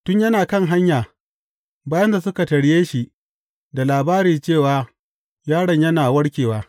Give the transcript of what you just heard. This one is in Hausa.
Tun yana kan hanya, bayinsa suka tarye shi da labari cewa yaron yana warkewa.